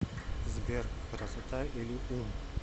сбер красота или ум